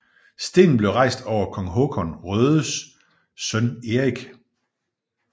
Stenen blev rejst over kong Håkan Rödes søn Erik